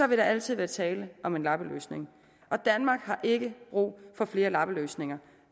vil der altid være tale om en lappeløsning og danmark har ikke brug for flere lappeløsninger